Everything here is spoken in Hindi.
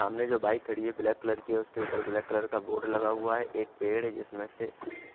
सामने जो बाइक खड़ी है ब्लैक कलर की है उसके ऊपर ब्लैक कलर का बोर्ड लगा हुआ है एक पेड़ है जिसमे से